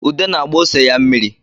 Ude na-agba ose ya mmiri